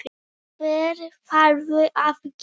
Hvað þarftu að gera?